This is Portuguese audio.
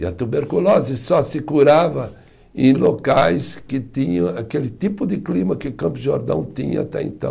E a tuberculose só se curava em locais que tinham aquele tipo de clima que Campos do Jordão tinha até então.